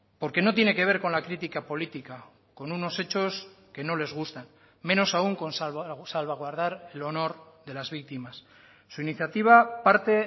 porque no tiene que ver con la crítica política con unos hechos que no les gustan menos aun con salvaguardar el honor de las víctimas su iniciativa parte